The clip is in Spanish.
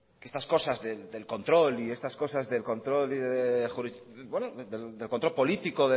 estas cosas del control político